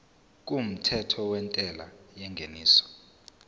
kumthetho wentela yengeniso